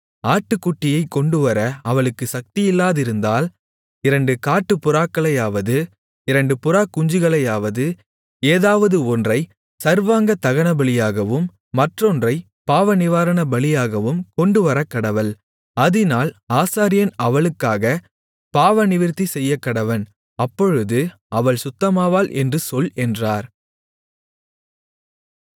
ஆட்டுக்குட்டியைக் கொண்டுவர அவளுக்கு சக்தியில்லாதிருந்தால் இரண்டு காட்டுப்புறாக்களையாவது இரண்டு புறாக்குஞ்சுகளையாவது ஏதாவது ஒன்றை சர்வாங்க தகனபலியாகவும் மற்றொன்றைப் பாவநிவாரணபலியாகவும் கொண்டுவரக்கடவள் அதினால் ஆசாரியன் அவளுக்காகப் பாவநிவிர்த்தி செய்யக்கடவன் அப்பொழுது அவள் சுத்தமாவாள் என்று சொல் என்றார்